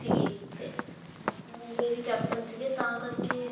ਸੀਗੇ ਤੇ captain ਸੀਗੇ ਤਾਂ ਕਰਕੇ